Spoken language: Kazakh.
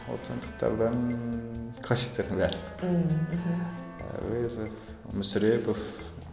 отандықтардан әуезов мүсірепов